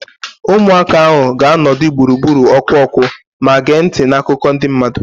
Ụmụaka ahụ ga-anọdụ gburugburu ọkụ ọkụ ma gee ntị na akụkọ ndị mmadụ